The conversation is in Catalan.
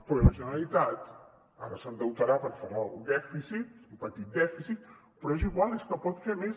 però i la generalitat ara s’endeutarà perquè farà el dèficit un petit dèficit però és igual és que en pot fer més